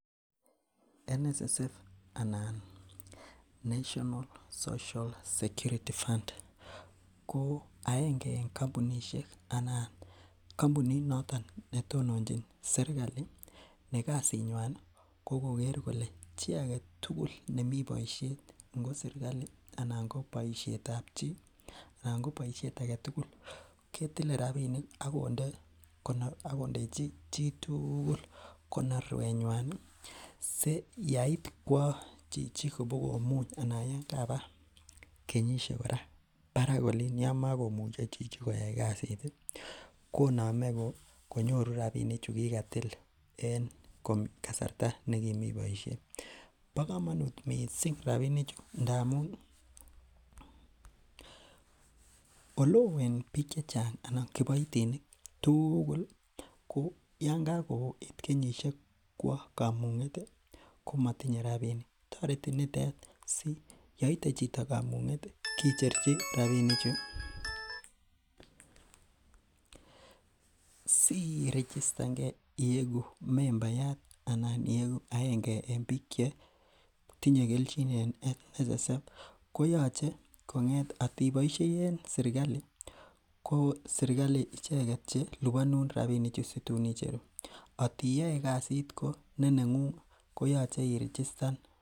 National social security fund ko aenge en kampunisiek anan kampunit noto netononchin serkali nekasit nyuan ih ko Kroger kole chi agetugul nemiboisiet ngo serkali anan kobaisietab chi ih anan ko boisiet agetugul ketile rabinik akonde , akondechi chitugul konorwet nyuan ih si yait kua chichi kobokomuny anan yekaba kenyisiek kora barak Olin Yoon makomiche koyai kasit ih , koname konyoru rabinik chukigatil en kasarta nekimii kobaishe. Bo kamanut missing rabinik chu ngamuun ih oleoo en bik chechang anan kiboitinik tugul ih ko yoon kakoit kenyisiek kwa kamung'et ih komatinye rabinik, ko tareti nitet siyeite chito kamung'et ih kicherchi ranichu, sirichistange ieku membayaat anan ieku aenge en bik che tinye kelchin en National social security fund koyache kong'et atiboishei en sirkali ko sikalit icheket cheliboni rabinik aitia kasit neng'ung ih koyache irechistan.